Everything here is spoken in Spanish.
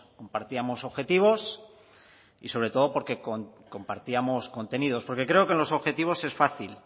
compartíamos objetivos y sobre todo porque compartíamos contenido porque creo que los objetivos es fácil